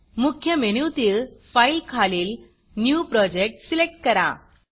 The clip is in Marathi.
मुख्य मेनूतील Fileफाइल खालील न्यू Projectन्यू प्रॉजेक्ट सिलेक्ट करा